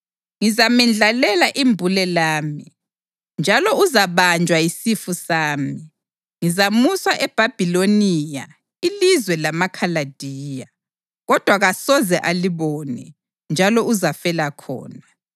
Ngizamendlalela imbule lami, njalo uzabanjwa yisifu sami; ngizamusa eBhabhiloniya ilizwe lamaKhaladiya, kodwa kasoze alibone, njalo uzafela khona.